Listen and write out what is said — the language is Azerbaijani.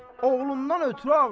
Oğlundan ötrü ağlayır.